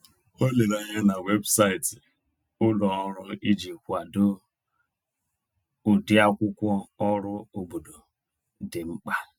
O lere anya na webụsaịtị ulọọrụ iji kwado ụdịakwụkwọ ọrụ obodo dị mkpa.